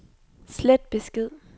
slet besked